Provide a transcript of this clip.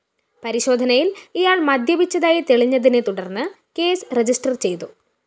പരിശോധനയില്‍ ഇയാള്‍ മദ്യപിച്ചതായി തെളിഞ്ഞതിനെ തുടര്‍ന്ന് കേസ് രജിസ്റ്റർ ചെയ്തു